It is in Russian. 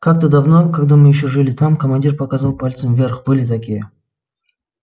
как-то давно когда мы ещё жили там командир показал пальцем вверх были такие